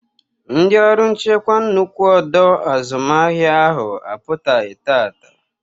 Ndị ọrụ nchekwa nnukwu ọdọ azụmahịa ahụ apụtaghị taata.